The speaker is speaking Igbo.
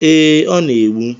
Ee, ọ na-egbu.